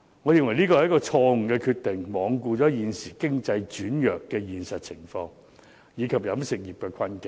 我認為這是一項錯誤決定，罔顧現時經濟轉弱的現實情況，以及飲食業的困境。